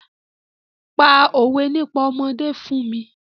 Pa òwé nípa ọmọdé fún mi!